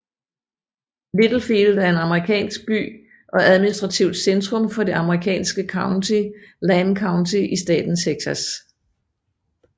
Littlefield er en amerikansk by og administrativt centrum for det amerikanske county Lamb County i staten Texas